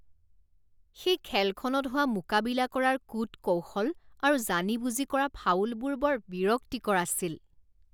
সেই খেলখনত হোৱা মোকাবিলা কৰাৰ কূট কৌশল আৰু জানি বুজি কৰা ফাউলবোৰ বৰ বিৰক্তিকৰ আছিল